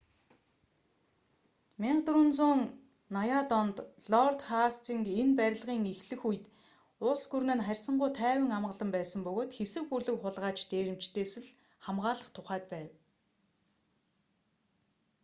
1480-д онд лорд хастинг энэ барилгын эхлэх үед улс гүрэн нь харьцангүй тайван амгалан байсан бөгөөд хэсэг бүлэг хулгайч дээрэмчидээс л хамгаалах тухайд байв